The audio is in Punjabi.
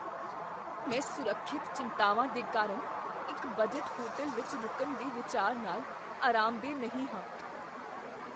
ਮੈਂ ਸੁਰੱਖਿਅਤ ਚਿੰਤਾਵਾਂ ਦੇ ਕਾਰਨ ਇੱਕ ਬਜਟ ਹੋਟਲ ਵਿੱਚ ਰੁਕਣ ਦੇ ਵਿਚਾਰ ਨਾਲ ਅਰਾਮਦੇਹ ਨਹੀਂ ਹਾਂ।